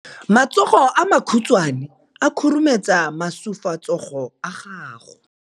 Matsogo a makhutshwane a khurumetsa masufutsogo a gago.